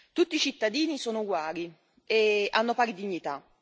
Tutti i cittadini sono uguali e hanno pari dignità.